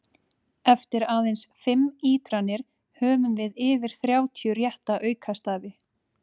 Eftir aðeins fimm ítranir höfum við yfir þrjátíu rétta aukastafi!